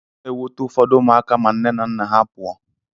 Ọ na-ewute ụfọdụ ụmụaka ma nne na nna ha pụọ.